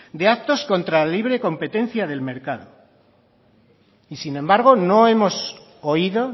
de actos contra la libre competencia del mercado y sin embargo no hemos oído